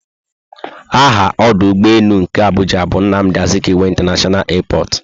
Aha ọdụ ụgbọelu nke Abuja bu "Nnamdi Azikiwe International airport"